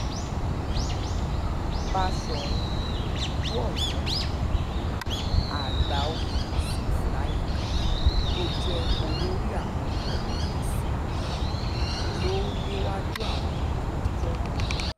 um báṣọ́run ìlú ọyọ́ àgbà-òye yusuf layinka tó jẹ́ olórí àwọn ọ̀yọ́mẹ́sì um ló léwájú àwọn olùpẹ̀jọ́ náà